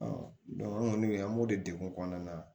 an kɔni an b'o de degun kɔnɔna na